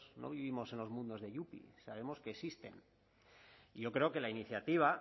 no vivimos en los mundos de yupi sabemos que existen y yo creo que la iniciativa